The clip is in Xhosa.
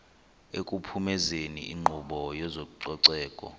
ekuphumezeni inkqubo yezococeko